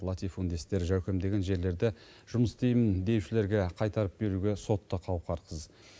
латифундистер жәукемдеген жерлерді жұмыс істеймін деушілерге қайтарып беруге сот та қауқарсыз